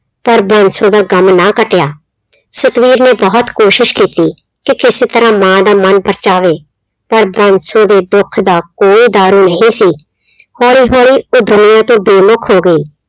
ਪਰ ਬਾਂਸੋ ਦਾ ਗਮ ਨਾ ਘਟਿਆ ਸਤਵੀਰ ਨੇ ਬਹੁਤ ਕੋਸ਼ਿਸ਼ ਕੀਤੀ ਕਿ ਕਿਸੇ ਤਰ੍ਹਾਂ ਮਾਂ ਦਾ ਮਨ ਪਰਚਾਵੇ ਪਰ ਬਾਂਸੋ ਦੇ ਦੁੱਖ ਦਾ ਕੋਈ ਦਾਰੂ ਨਹੀਂ ਸੀ ਹੌਲੀ ਹੌਲੀ ਉਹ ਦੁਨੀਆਂ ਤੋਂ ਬੇਮੁਖ ਹੋ ਗਏ।